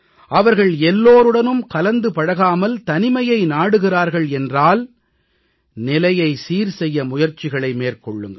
அவர்கள் எல்லோருடனும் கலந்து பழகாமல் தனிமையை நாடுகிறார்கள் என்றால் நிலையை சீர்செய்ய முயற்சிகளை மேற்கொள்ளுங்கள்